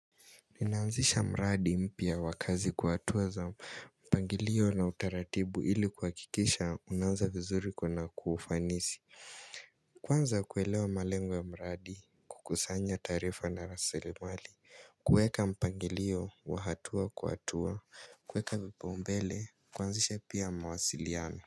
Ninaanzisha mradi mpya wa kazi kwa hatua za mpangilio na utaratibu ili kuhakikisha unaanza vizuri na kwa kufanisi Kwanza kuelewa malengo ya mradi kukusanya taarifa na rasilimali kuweka mpangilio wa hatua kwa hatua kuweka vipaumbele kuaanzisha pia mawasiliano.